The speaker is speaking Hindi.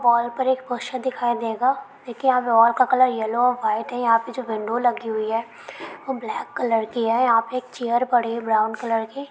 वॉल पर एक पोस्टर दिखाई देगा । देखिये यहाँ पे वॉल का कलर येलो ओर व्हाइट है। यहाँ पे जो विंडो लगी हुई है वो ब्लैक कलर की है। यहाँ पर एक चैर पड़ी है ब्राउन कलर की।